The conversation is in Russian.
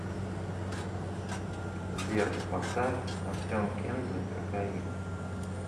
сбер поставь артем кензо кокаин